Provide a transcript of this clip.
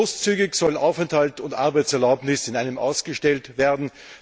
Großzügig sollen Aufenthalt und Arbeitserlaubnis in einem ausgestellt werden.